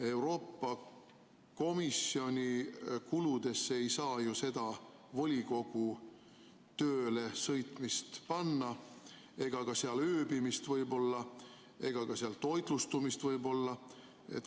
Euroopa Komisjoni kuludesse ei saa ju seda volikogu tööle sõitmist panna ega ka seal ööbimist ega ka seal toitlustamist võib-olla.